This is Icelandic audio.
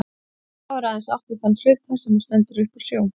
Þá er aðeins átt við þann hluta, sem stendur upp úr sjó.